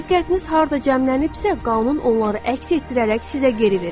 Diqqətiniz harda cəmlənibsə, qanun onları əks etdirərək sizə geri verir.